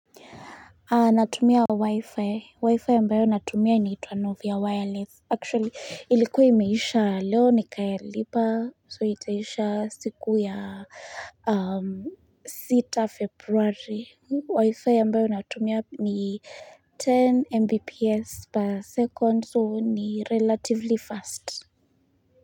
Natumia wifi. Wifi ambao natumia inaitwa novia wireless. Actually ilikuwa imeisha leo ni kailipa so itaisha siku ya sita februari. Wifi ambayo natumia ni 10 mbps per second so ni relatively fast.